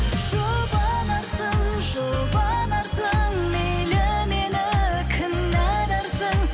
жұбанарсың жұбанарсың мейлі мені кінәларсың